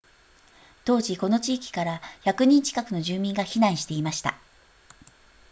当時この地域から100人近くの住民が避難していました